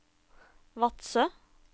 Vadsø